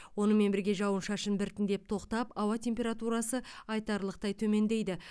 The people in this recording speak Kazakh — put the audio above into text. онымен бірге жауын шашын біртіндеп тоқтап ауа температурасы айтарлықтай төмендейді